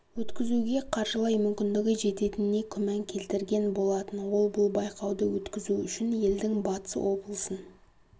өткізуге қаржылай мүмкіндігі жететініне күмән келтірген болатын ол бұл байқауды өткізу үшін елдің батыс облысын